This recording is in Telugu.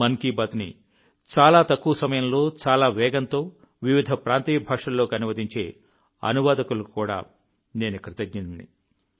మన్ కీ బాత్ని చాలా తక్కువ సమయంలో చాలా వేగంతో వివిధ ప్రాంతీయ భాషల్లోకి అనువదించే అనువాదకులకు కూడా నేను కృతజ్ఞుడిని